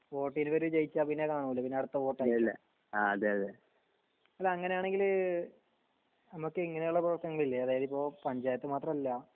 വോട്ടിയിത്‌ ജയിച്ച പിന്നെ കാണൂല്ല പിന്നെ അടുത്ത വോട്ട് അല്ല അങ്ങാണെങ്കിൽ നമ്മുക്ക് ഇങ്ങനെയുള്ള പ്രവർത്തനങ്ങൾ ഇല്ലേ അതായതിപ്പോ പഞ്ചായത്ത് മാത്രല്ല